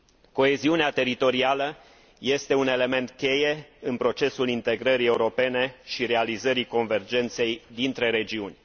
Coeziunea teritorială este un element cheie în procesul integrării europene și realizării convergenței dintre regiuni.